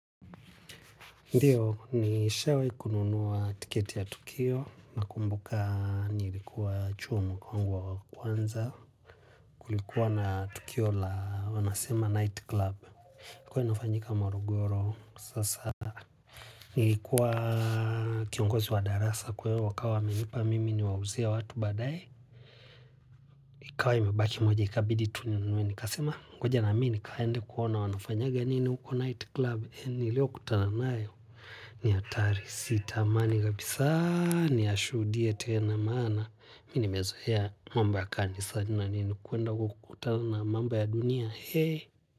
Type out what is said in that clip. Ndio, nishawahi kununua tiketi ya tukio. Nakumbuka nilikuwa chuo mwaka wangu wa kwanza. Kulikuwa na tukio la wanasema nightclub, ilikuwa inafanyika Morogoro, sasa. Nilikuwa kiongozi wa darasa kwa hio wakawa wamenipa mimi niwauzie watu baadae. Ikawa imebaki moja ikabidi tu ninue nikasema ngoja na mimi nikaende kuona wanafanyanga nini huko night club. Niliyokutana nayo ni hatari si tamani kabisa niyashuhudie tena, maana. Mimi nimezoea mambo ya kanisani na nimekwenda huko kukutana mambo ya dunia.